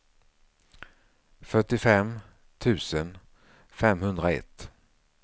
fyrtiofem tusen femhundraett